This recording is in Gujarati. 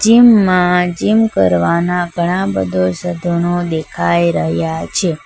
જીમ માં જીમ કરવાના ઘણા બધો સાધનો દેખાઈ રહ્યા છે.